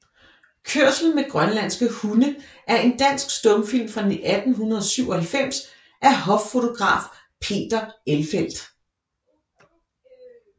Kørsel med grønlandske Hunde er en dansk stumfilm fra 1897 af hoffotograf Peter Elfelt